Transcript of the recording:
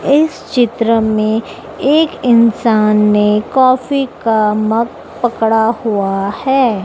इस चित्र में एक इंसान ने कॉफी का मग पकड़ा हुआ है।